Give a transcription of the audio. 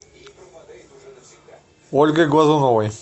ольгой глазуновой